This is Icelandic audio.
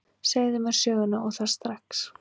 Segðu mér söguna, og það strax.